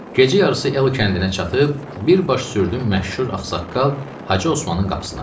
Gecə yarısı el kəndinə çatıb, bir baş sürdüm məşhur ağsaqqal Hacı Osmanın qapısına.